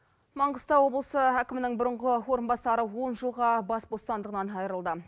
маңғыстау облысы әкімінің бұрынғы орынбасары он жылға бас бостандығынан айырылды